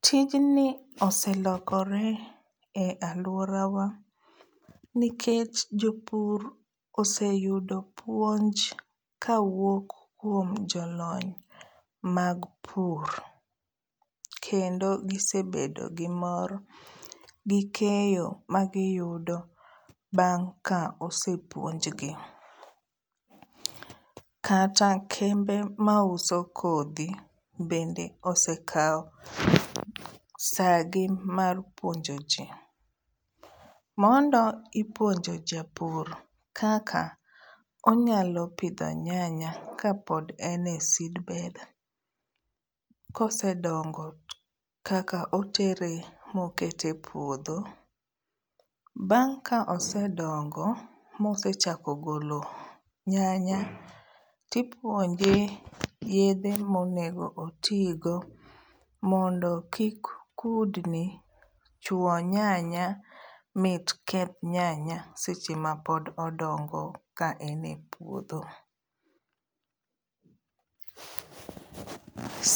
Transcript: Tijni oselokore e aluorawa nikech jopur oseyudo puonj kawuok kuom jolony mag pur kendo gisebedo gi mor gi keyo ma giyudo bang' ka osepuonjgi. Kata kembe ma uso kodhi bende osekawo saa gi mar puonjo jii. Mondo ipuonjo japur kaka onyalo pidho nyanya kapod en e seedbed kosedongo kaka otere mokete e puodho. Bang' ka osedongo mosechako golo nyanya tipuonje yedhe monego otigo mondo kik kudni chuo nyanya mit keth nyanya seche ma pod odongo ka en e puodho.